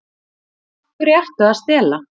Af hverju ertu að stela?